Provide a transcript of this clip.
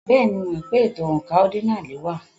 Bẹ́ẹ̀ni, mo mọ̀ pé ètò oǹkà ọ́dínààlí wà.